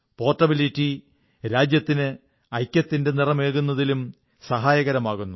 portability രാജ്യത്തിന് ഐക്യത്തിന്റെ നിറമേകുന്നതിലും സഹായകമായിരിക്കുന്നു